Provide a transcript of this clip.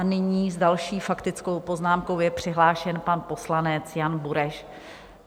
A nyní s další faktickou poznámkou je přihlášen pan poslanec Jan Bureš.